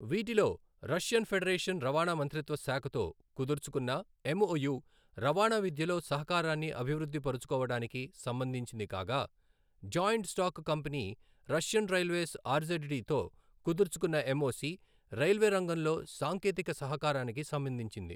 వీటిలో Russian federation రవాణా మంత్రిత్వ శాఖతో కుదుర్చుకున్న ఎంఒయు రవాణా విద్యలో సహకారాన్ని అభివృద్ధి పరచుకోవడానికి సంబంధించింది కాగా, joint stock company Russian railways R Z D తో కుదుర్చుకున్న ఎంఒసి రైల్వే రంగంలో సాంకేతిక సహకారానికి సంబంధించింది.